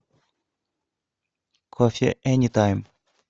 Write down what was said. кофе энитайм